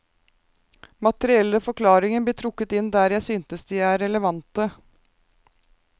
Materielle forklaringer blir trukket inn der jeg synes de er relevante.